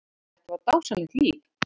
Þetta var dásamlegt líf.